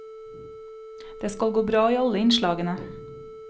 Det skal gå bra i alle innslagene.